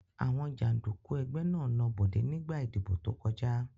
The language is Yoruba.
Àwọn jàǹdùkú ẹgbẹ́ náà na Bọ̀dé nígbà ìdìbò tó kọjá.